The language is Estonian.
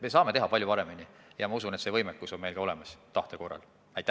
Me saame teha hea eelnõu ja ma usun, et hea tahte korral on meil see võimekus olemas.